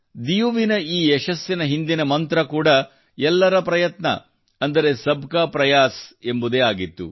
ಡಿಯುವಿನ ಈ ಯಶಸ್ಸಿನ ಹಿಂದಿನ ಮಂತ್ರ ಕೂಡಾ ಎಲ್ಲರ ಪ್ರಯತ್ನ ಅಂದರೆ ಸಬ್ ಕಾ ಪ್ರಯಾಸ್ ಎಂಬುದೇ ಆಗಿದೆ